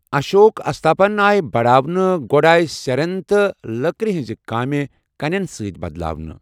اشوک استوپن آیہِ بڑاونہٕ، گۅڈٕ آیہِ سیرٮ۪ن تہٕ لکرِ ہٕنٛز کامہِ کَنٮ۪ن ستۍ بدلاونہٕ۔